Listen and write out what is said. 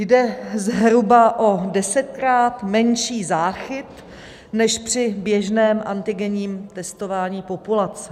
Jde zhruba o desetkrát menší záchyt než při běžném antigenním testování populace.